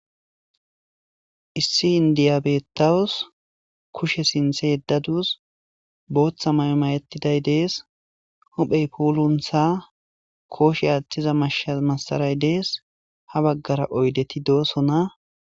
Issi indiyabettawus, kushe sinthe yeddadus, booththa maymayettiday dees, huphey puuluntha kooshe aaththiza mashsha massaray dees, ha baggara oydeti doosona.